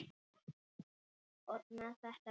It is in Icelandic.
Og með þetta nef.